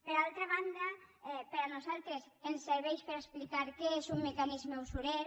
per altra banda a nosaltres ens serveix per a explicar que és un mecanisme usurer